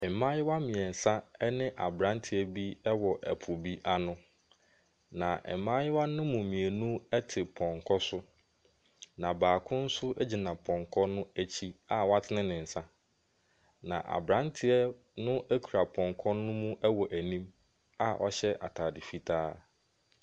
Mmaayewa mmiɛnsa ɛne abranteɛ bi ɛwɔ ɛpo bi ano na mmayewa no mu mmienu ɛte pɔnkɔ so na baako nso egyina pɔnkɔ no akyi a w'atene ne nsa. Na abranteɛ no ekura pɔnkɔ no mu ɛwɔ n'anim a ɔhyɛ ataade fitaa.